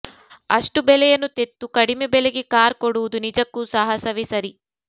ಅಷ್ಟು ಬೆಲೆಯನ್ನು ತೆತ್ತು ಕಡಿಮೆ ಬೆಲೆಗೆ ಕಾರ್ ಕೊಡುವುದು ನಿಜಕ್ಕೂ ಸಾಹಸವೇ ಸರಿ